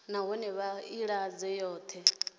nahone vha i ḓadze yoṱhe